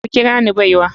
Ku kira ni baiwa.